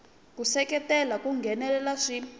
ku seketela ku nghenelela swi